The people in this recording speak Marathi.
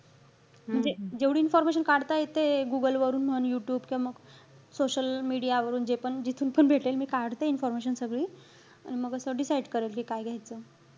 म्हणजे जेवढी information काढता येतेय. Google वरून म्हण, यूट्यूब किंवा मग social media वरून. जे पण जिथून पण भेटेल मी काढते information सगळी. आणि मग असं decide करेल, की काय घ्यायचं.